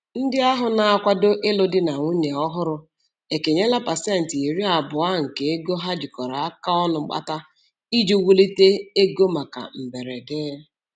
Ndị ahụ na-akwado ilụ di na nwunye ọhụrụ ekenyela pasentị iri abụọ nke ego ha jikọrọ aka ọnụ kpata iji wulite ego maka mberede.